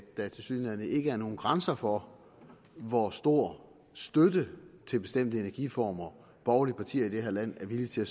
der tilsyneladende ikke er nogen grænser for hvor stor støtte til bestemte energiformer borgerlige partier i det her land er villige til at